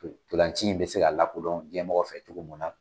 Ntolanci in bɛ se ka lakodɔn jɛnmɔgɔ fɛ cogo mun na